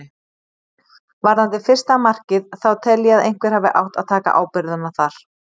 Varðandi fyrsta markið þá tel ég að einhver hafi átt að taka ábyrgðina þar.